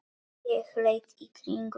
Ég leit í kringum mig.